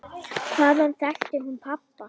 Hvaðan þekkti hún pabba?